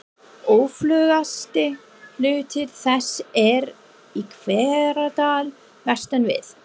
Öflugasti hluti þess er í Hveradal vestan við